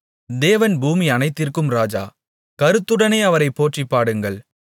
தேவன் பூமியனைத்திற்கும் ராஜா கருத்துடனே அவரைப் போற்றிப் பாடுங்கள்